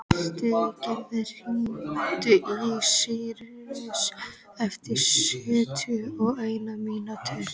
Styrgerður, hringdu í Sýrus eftir sjötíu og eina mínútur.